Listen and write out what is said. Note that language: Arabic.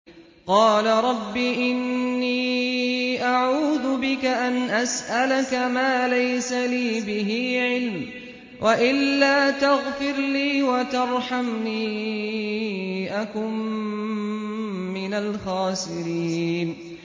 قَالَ رَبِّ إِنِّي أَعُوذُ بِكَ أَنْ أَسْأَلَكَ مَا لَيْسَ لِي بِهِ عِلْمٌ ۖ وَإِلَّا تَغْفِرْ لِي وَتَرْحَمْنِي أَكُن مِّنَ الْخَاسِرِينَ